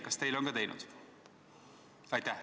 Kas teile on ka teinud?